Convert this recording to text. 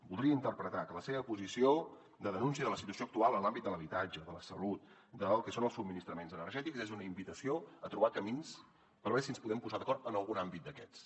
podria interpretar que la seva posició de denúncia de la situació actual en l’àmbit de l’habitatge de la salut del que són els subministraments energètics és una invitació a trobar camins per veure si ens podem posar d’acord en algun àmbit d’aquests